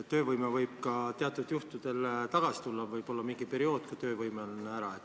Töövõime võib teatud juhtudel ka taastuda, võib-olla on see ära ainult mingisuguse perioodi vältel.